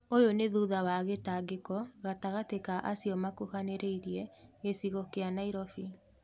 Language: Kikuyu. ũyũ nĩ thutha wa gĩtangĩko gatagatĩ ka acio ma kuhanĩrĩirie gĩcigo kĩa Nairobi.